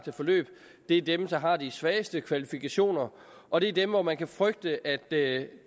forløb det er dem der har de svageste kvalifikationer og det er dem hvor man kan frygte at det